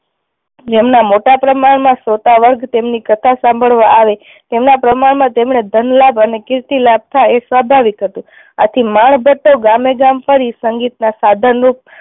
જેમના મોટા પ્રમાણ માં શ્રોતા વર્ગ તેમની કથા સાંભળવા આવે તેમના પ્રમાણ માં તેમણે ધન લાભ અને કીર્તિ લાભ થાય એ સ્વાભાવિક હતું આથી માણ ભટ્ટો ગામે ગામ ફરી સંગીત ના સાધન રૂપ